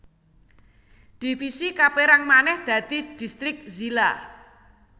Divisi kapérang manèh dadi distrik zila